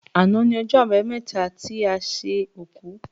Àná ni ọjọ́ àbámẹ́ta ti a ṣe òkú.